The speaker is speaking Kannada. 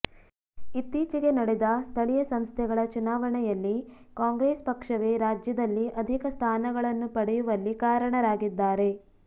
ಇತ್ತೀಚೆಗೆ ನಡೆದ ಸ್ಥಳೀಯ ಸಂಸ್ಥೆಗಳ ಚುನಾವಣೆಯಲ್ಲಿ ಕಾಂಗ್ರೆಸ್ ಪಕ್ಷವೇ ರಾಜ್ಯದಲ್ಲಿ ಅಧಿಕ ಸ್ಥಾನಗಳನ್ನು ಪಡೆಯುವಲ್ಲಿ ಕಾರಣರಾಗಿದ್ದಾರೆ